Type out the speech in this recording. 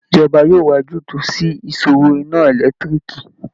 Ìjọba yóò wá ojútùú sí ìṣòro iná ẹlẹ́tiriììki